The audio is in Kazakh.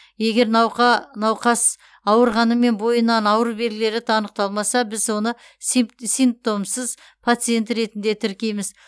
егер науқас ауырғанымен бойынан ауру белгілері анықталмаса біз оны симптомсыз пациент ретінде тіркейміз